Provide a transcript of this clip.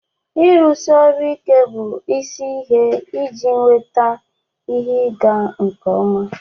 Ịrụsi ọrụ ike bụ isi ihe iji nweta ihe ịga nke ọma